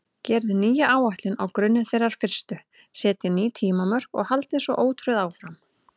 Gerið nýja áætlun á grunni þeirrar fyrstu, setjið ný tímamörk og haldið svo ótrauð áfram.